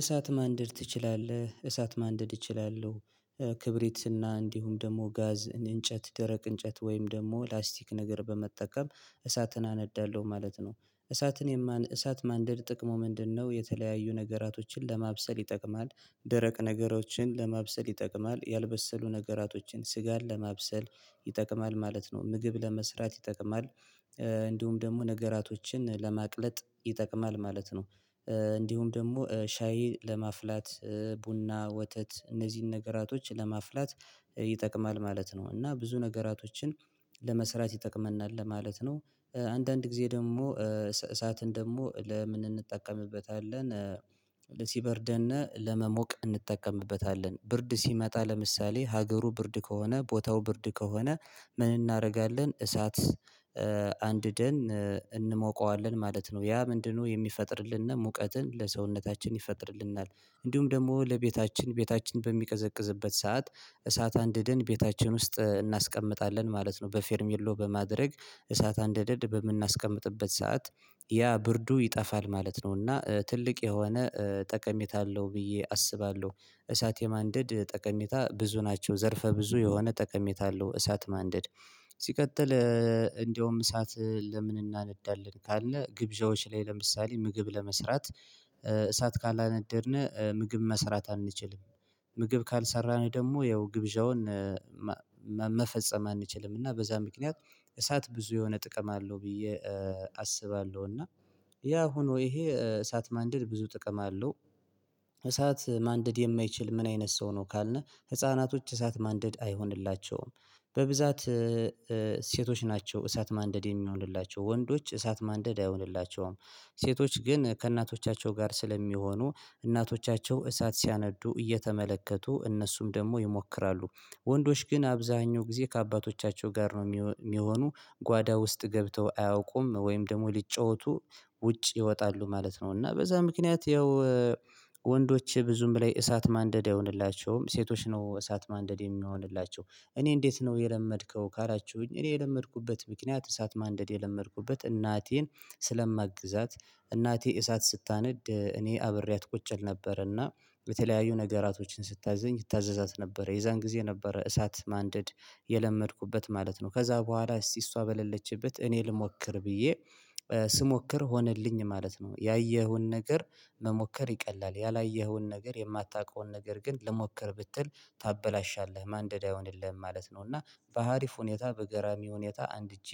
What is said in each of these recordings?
እሳት ማንደድ ትችላለህ? እሳት ማንደድ እችላለሁ ክብሪትና እንዲሁም ደግሞ ጋዝ እንጨት ደረቅ እንጨት ወይም ደግሞ ላስቲክ ነገር በመጠቀም እሳትን አነዳለሁ ማለት ነው። እሳትን የማን እሳት ማንደድ ጥቅሙ ምንድነው? የተለያዩ ነገራቶችን ለማብሰል ይጠቅማል ደረቅ ነገሮችን ለማብሰል ይጠቅማል ያልበሰሉ ነገራቶችን ስጋን ለማብሰል ይጠቅማል ማለት ነው ምግብ ለመስራት ይጠቅማል። እንዲሁም ደግሞ ነገራቶችን ለማቅለጥ ይጠቅማል ማለት ነው። እንዲሁም ደግሞ ሻይ ለማፍላት ቡና ወተት እነዚህን ነገራቶች ለማፍላት ይጠቅማል ማለት ነው። እና ብዙ ነገራቶችን ለመስራት ይጠቅመናል ለማለት ነው። አንዳንድ ጊዜ ደግሞ እሳትን ደግሞ ለምን እንጠቀምበታለን። ሲበርደን እና ለመሞቅ እንጠቀምበታለን ብርድ ሲመጣ ለምሳሌ ሀገሩ ብርድ ከሆነ ቦታው ብርድ ከሆነ ምን እናረጋለን እሳት አንድደን እንሞቀዋለን ማለት ነው። ያ ምንድነው? የሚፈጥርልን ሙቀትን ለሰውነታችን ይፈጥርልናል። እንዲሁም ደግሞ ለቤታችን ቤታችን በሚቀዘቅዝበት ሰዓት እሳት አንድደን ቤታችን ውስጥ እናስቀምጣለን ማለት ነው። በፌርሚየሎ በማድረግ እሳት አንደድ በምናስቀምጥበት ሰዓት ያ ብርዱ ይጠፋል ማለት ነው። እና ትልቅ የሆነ ጠቀሜታ አለው ብዬ አስባለሁ። እሳት የማንደድ ጠቀሜታ ብዙ ናቸው ዘርፈ ብዙ የሆነ ጠቀሜታ አለው እሳት ማንደድ። ሲቀጥል እንደውም እሳት ለምን እናነዳለን ካለን ግብዣዎች ላይ ለምሳሌ ምግብ ለመስራት እሳት ካላነደድን ምግብ መስራት አንችልም። ምግብ ካልሰራን ደግሞ ያው ግብዣውን መፈጸም አንችልም። እና በዛ ምክንያት እሳት ብዙ የሆነ ጥቅም አለው ብዬ አስባለሁ። እና ያ ሆኖ ይሄ እሳት ማንደድ ብዙ ጥቅም አለው። እሳት ማንደድ የማይችል ምን አይነት ሰው ነው? ካልን ህፃናቶች እሳት ማንደድ አይሆንላቸውም። በብዛት ሴቶች ናቸው እሳት ማንደድ የሚሆንላቸው ወንዶች እሳት ማንደድ አይሆንላቸውም። ሴቶች ግን ከእናቶቻቸው ጋር ስለሚሆኑ እናቶቻቸው እሳት ሲያነዱ እየተመለከቱ እነሱም ደግሞ ይሞክራሉ። ወንዶች ግን አብዛኛው ጊዜ ከአባቶቻቸው ጋር ነው የሚሆኑ ጓዳ ውስጥ ገብተው አያውቁም ወይም ደግሞ ሊጫወቱ ውጭ ይወጣሉ ማለት ነው። እና በዛ ምክንያት ያው ወንዶች ብዙም በላይ እሳት ማንደድ አይሆንላቸውም። ሴቶች ነው እሳት ማንደድ የሚሆንላቸው። እኔ እንዴት ነው የለመድከው? ካላችሁኝ እኔ የለመድኩበት ምክንያት እሳት ማንደድ የለመድኩበት እናቴን ስለማግዛት እናቴ እሳት ስታነድ እኔ አብሬያት ቁጭ እል ነበር እና በተለያዩ ነገራቶችን ስታዘኝ እታዘዛት ነበረ የዛን ጊዜ ነበረ እሳት ማንደድ የለመድኩበት ማለት ነው። ከዛ በኋላ እስቲ እሷ በለለችበት እኔ ልሞክር ብዬ ስሞክር ሆነልኝ ማለት ነው። ያየኸውን ነገር መሞከር ይቀላል ያላየኸውን ነገር የማታውቀውን ነገር ግን ልሞከር ብትል ታበላሻለህ ማንደድ አይሆንልህም ማለት ነው። እና በሀሪፍ ሁኔታ በገራሚ ሁኔታ አንድጄ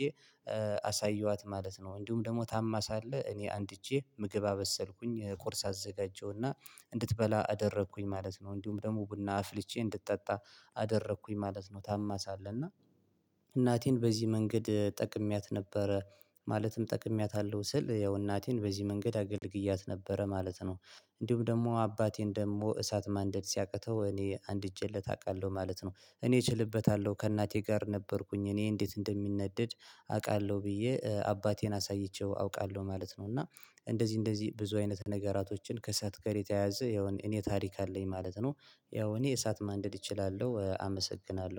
አሳየኋት ማለት ነው። እንዲሁም ደግሞ ታማ ሳለ እኔ አንድእጄ ምግብ አበሰልኩኝ ቁርስ አዘጋጀሁና እንድትበላ አደረኩኝ ማለት ነው። እንዲሁም ደግሞ ቡና አፍልቼ እንድትጠጣ አደረኩኝ ማለት ነው። ታማ ሳለህ እና እናቴን በዚህ መንገድ ጠቅሜያት ነበረ ማለትም ጠቅሜያታለሁ ስል ያው እናቴን በዚህ መንገድ አገልግያት ነበረ ማለት ነው። እንዲሁም ደግሞ አባቴን ደግሞ እሳት ማንደድ ሲያቅተው እኔ አንድእጄለት አቃለሁ ማለት ነው። እኔ እችልበታለሁ ከእናቴ ጋር ነበርኩኝ እኔ እንዴት እንደሚነደድ አውቃለሁ ብዬ አባቴን አሳይቼው አውቃለሁ ማለት ነው። እና እንደዚህ እንደዚህ ብዙ አይነት ነገራቶችን ከእሳአት ጋር የተያያዘ ያውም እኔ ታሪክ አለኝ ማለት ነው። ያው እኔ እሳት ማንደድ እችላለሁ አመሰግናለሁ